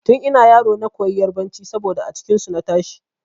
Tun ina yaro na koyi yarbanci saboda a cikin su na tashi.